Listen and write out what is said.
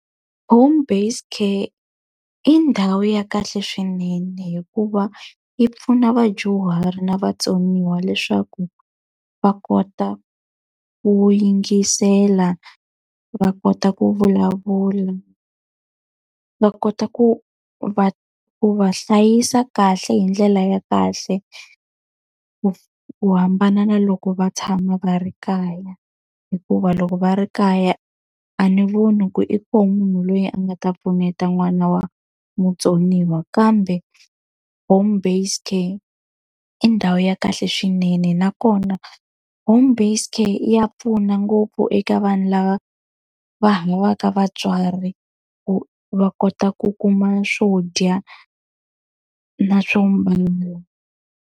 Home-based care i ndhawu ya kahle swinene hikuva yi pfuna vadyuhari na vatsoniwa leswaku va kota ku yingisela, va kota ku vulavula, va kota ku va ku va hlayisa kahle hi ndlela ya kahle ku hambana na loko va tshama va ri kaya. Hikuva loko va ri kaya a ni voni ku i kona munhu loyi a nga ta pfuneta n'wana wa mutsoniwa kambe home-based care i ndhawu ya kahle swinene. Nakona home-based care ya pfuna ngopfu eka vanhu lava va havaka vatswari, ku va kota ku kuma swo dya na swo .